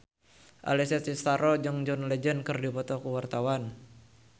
Alessia Cestaro jeung John Legend keur dipoto ku wartawan